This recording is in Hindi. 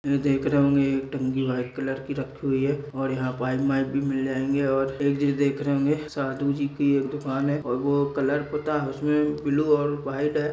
देख रहे होंगे एक टंकी वाइट कलर की रखी हुई है और यहाँ पाइप वाइप भी मिल जाएंगे और एक चींज देख रहे होंगे साधु जी की एक दुकान है और वह कलर पोता उसमें ब्लू और वाइट है।